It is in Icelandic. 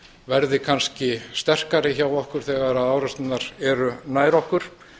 verði kannski sterkari hjá okkur þegar árásirnar eru nær okkur